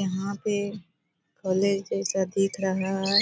यहाँ पे कॉलेज जैसा दिख रहा है।